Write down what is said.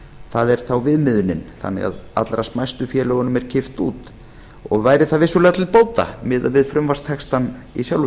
það er þá viðmiðunin þannig að allra smæstu félögunum er kippt út og væri það vissulega til bóta miðað við frumvarpstextann í sjálfu